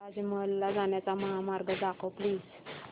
ताज महल ला जाण्याचा महामार्ग दाखव प्लीज